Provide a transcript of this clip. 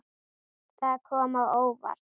Það kom á óvart.